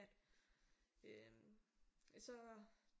At øh så